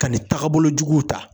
Ka nin tagabolo juguw ta.